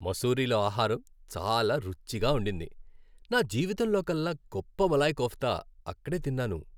మసూరీలో ఆహారం చాలా రుచిగా ఉండింది. నా జీవితంలోకల్లా గొప్ప మలాయ్ కోఫ్తా అక్కడే తిన్నాను.